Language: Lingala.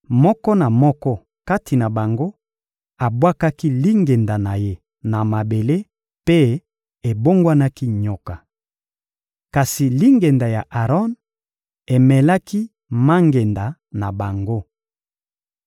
Moko na moko kati na bango abwakaki lingenda na ye na mabele mpe ebongwanaki nyoka. Kasi lingenda ya Aron emelaki mangenda na bango.